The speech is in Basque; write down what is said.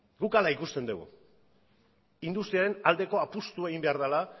guk horrela ikusten dugu industriaren aldeko apustua egin behar dela